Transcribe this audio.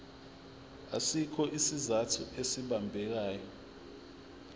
asikho isizathu esibambekayo